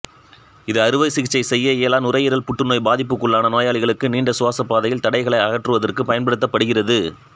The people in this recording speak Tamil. இது அறுவை சிகிச்சை செய்ய இயலா நுரையீரல் புற்றுநோய் பாதிப்புக்குள்ளான நோயாளிகளுக்கு நீண்ட சுவாசப்பாதையில் தடைகளை அகற்றுவதற்குப் பயன்படுத்தப்படுகிறது